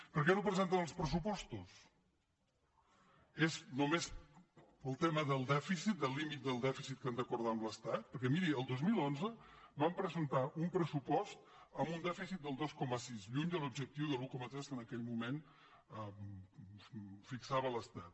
per què no presenten els pressupostos és només el tema del dèficit del límit del dèficit que han d’acordar amb l’estat perquè miri el dos mil onze van presentar un pressupost amb un dèficit del dos coma sis lluny de l’objectiu de l’un coma tres que en aquell moment fixava l’estat